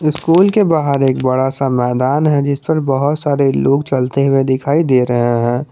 School के बाहर एक बड़ा सा मैदान है जिस पर बहोत सारे लोग चलते हुए दिखाई दे रहे हैं।